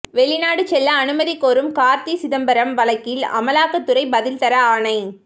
வெளிநாடு செல்ல அனுமதி கோரும் கார்த்தி சிதம்பரம் வழக்கில் அமலாக்கத்துறை பதில் தர ஆணை